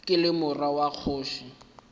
ke le morwa wa kgoši